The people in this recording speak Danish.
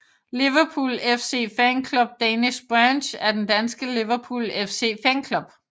Liverpool FC Fan Club Danish Branch er den danske Liverpool FC fanklub